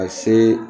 Ka se